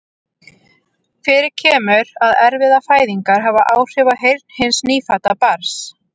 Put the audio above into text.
Fyrir kemur að erfiðar fæðingar hafa áhrif á heyrn hins nýfædda barns.